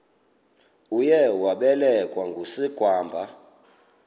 uye wabelekwa ngusigwamba